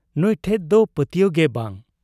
ᱱᱩᱸᱭ ᱴᱷᱮᱫ ᱫᱚ ᱯᱟᱹᱛᱭᱟᱹᱣ ᱜᱮ ᱵᱟᱝ ᱾